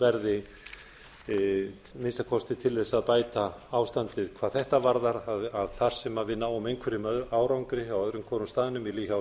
verði að minnsta kosti til að bæta ástandið hvað þetta varðar að þar sem við náum einhverjum árangri á öðrum hvorum staðnum hjá